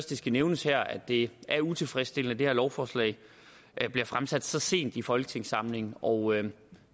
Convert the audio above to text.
det skal nævnes her at det er utilfredsstillende at det her lovforslag bliver fremsat så sent i folketingssamlingen og